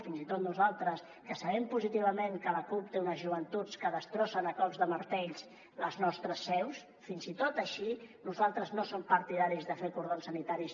fins i tot nosaltres que sabem positivament que la cup té unes joventuts que destrossen a cops de martell les nostres seus fins i tot així nosaltres no som partidaris de fer cordons sanitaris